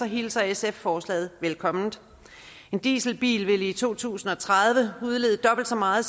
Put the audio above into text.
hilser sf forslaget velkommen en dieselbil vil i to tusind og tredive udlede dobbelt så meget